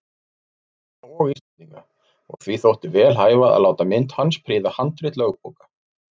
Norðmanna og Íslendinga, og því þótti vel hæfa að láta mynd hans prýða handrit lögbóka.